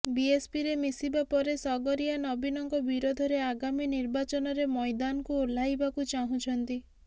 ବିଏସ୍ପିରେ ମିଶିବା ପରେ ସଗରିଆ ନବୀନଙ୍କ ବିରୋଧରେ ଆଗାମୀ ନିର୍ବାଚନରେ ମଇଦାନକୁ ଓହ୍ଲାଇବାକୁ ଚାହୁଁଛନ୍ତି